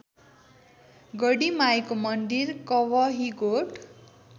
गढीमाईको मन्दिर कवहीगोठ